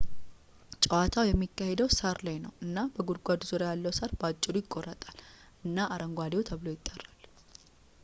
ጨዋታው የሚካሄደው ሳር ላይ ነው እና በጉድጓዱ ዙሪያ ያለው ሳር በአጭሩ ይቆረጣል እና አረንጓዴው ተብሎ ይጠራል